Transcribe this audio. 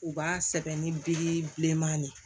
U b'a sɛbɛn ni biriki bileman de ye